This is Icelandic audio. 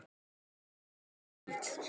Kólnar í kvöld